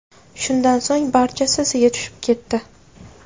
Shundan so‘ng barchasi iziga tushib ketdi.